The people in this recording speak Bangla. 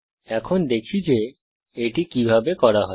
এখন দেখি যে এটি কিভাবে করা যায়